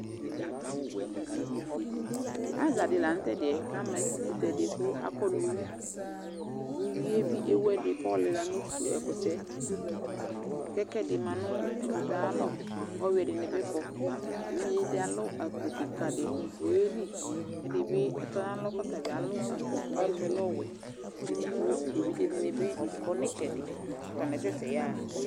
Azaɗɩ lanʊtɛ ama etɩƙʊtɛɗɩ ƙʊ amanʊ ʊwʊɩ ewʊ ʊƴʊɩ 3ɗɩ ƙʊ aƴɔlɩla nʊ ɛƙʊtɛ ƙʊ ɛƙʊɛɗɩmanʊ ɛƙʊtɛ aƴalɔ ƙʊ ɔƴʊɛɗɩnɩɓɩ aƙɔ eʋɩɗjeɗɩ alʊ golo ƙɩƙaɗɩ ƙʊ ɔƴelɩ ɛɗɩɓɩ ɔtɔnʊ ɔtaɓɩ alʊ golo aƴɩsʊɛ ɔlɛ ɔwɛ ƙʊ eʋɩɗjeɗɩnɩɓɩ aƙɔ nʊ ɩtsɛɗɩ ƙʊ atanɩasɛsɛ yaɣa